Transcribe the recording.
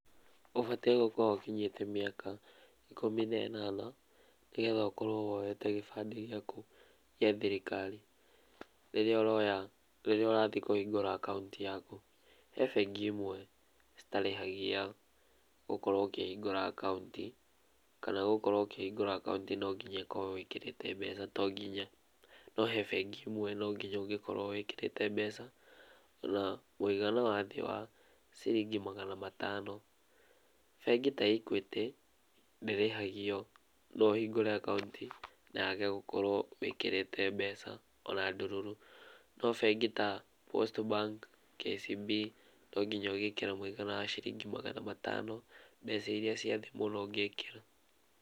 Ũbatiĩ gũkorwo ũkinyĩte mĩaka ikũmi na ĩnana, nĩgetha ũkorwo woete gĩbandĩ gĩaku gĩa thirikari, rĩrĩa ũroya, rĩrĩa ũrathiĩ kũhingũra akaunti yaku, he bengi imwe citarĩhagia, gũkorwo ũkĩhingura akaunti, kana gũkorwo ũkĩhingũra akaunti nonginya ĩkorwo wĩkĩrĩte mbeca, to nginya, no he bengi ĩmwe nonginya ũngĩkorwo wĩkĩrĩte mbeca, na mũigana wa thĩ wa ciringi magana matano. Bengi ta Equity ndĩrĩhagio, noũhingũre akaunti na wage gũkorwo wĩkĩrĩte mbeca ona ndururu, no bengi ta, Post Bank, KCB, nonginya ũgĩkire mũigana wa ciringi magana matano, mbeca iria cia thĩ mũno ũngĩkĩra.